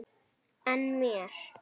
En mér?